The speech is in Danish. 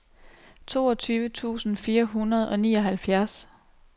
toogtyve tusind fire hundrede og nioghalvfjerds